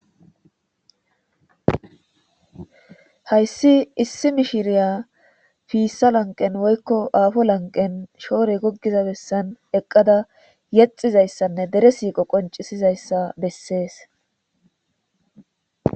hayssi issi miishshiriya fissa lanqen woykko afo lanqen shoore goggiza bessan eqqada yexizayssanne dere siiqqo qoncisizayssa bessees